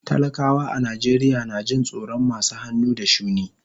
Talakawa a Najeriya na jin tsoron masu hannu da shuni.